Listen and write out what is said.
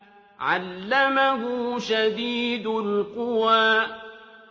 عَلَّمَهُ شَدِيدُ الْقُوَىٰ